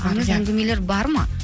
аңыз әңгімелер бар ма